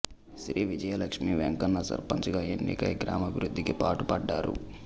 శ్రీ విజయ లక్ష్మి వెంకన్న సర్పంచ్ గా ఎన్నికై గ్రామాభివృద్దికి పాటు పడ్డారు